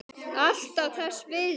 Alltaf þess virði.